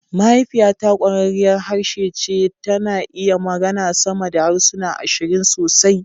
Mahaifiyata ƙwararriyar harshe ce, tana iya magana sama da harsuna ashirin sosai